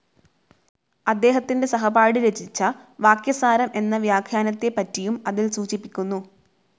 അദ്ദേഹത്തിൻ്റെ സഹപാഠി രചിച്ച വാക്യസാരം എന്ന വ്യാഖ്യാനത്തെപ്പറ്റിയും അതിൽ സൂചിപ്പിക്കുന്നു.